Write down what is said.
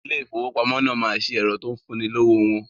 Ilé ìfowópamọ́ náà ma ṣe ẹ̀rọ tó ń fún ni lówó wọn